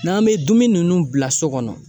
N'an be dumuni nunnu bila so kɔnɔ